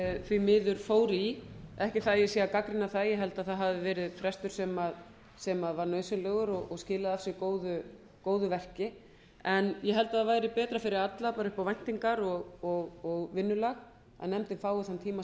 því miður fór í ekki það að ég sé að gagnrýna það ég held að það hafi verið frestur sem var nauðsynlegur og skilaði af sér góðu verki ég held að það væri betra fyrir alla bara upp á væntingar og vinnulag að nefndin fái þann tíma